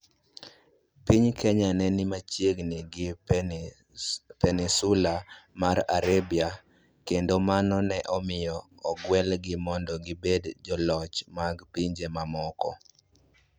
Piny Kenya ne ni machiegni gi Peninsula mar Arabia, kendo mano ne omiyo ogwelgi mondo gibed joloch mag pinje mamoko.